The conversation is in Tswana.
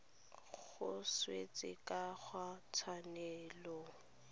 go swetsa ka ga ditshwanelo